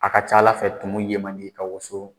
Aw ka ca Ala fɛ tumu ye man di i ka woso